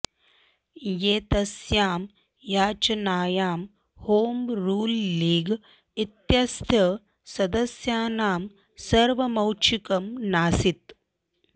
एतस्यां याचनायां home rule league इत्यस्य सदस्यानां सर्वमैच्छिकं नासीत्